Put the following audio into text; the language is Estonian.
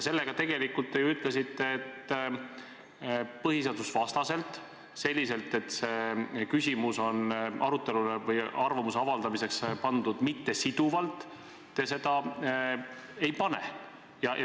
Sellega te tegelikult ju ütlesite, et põhiseadusvastaselt, selliselt, et see küsimus on arutelule või arvamuse avaldamiseks pandud mittesiduvalt, te seda hääletusele ei pane.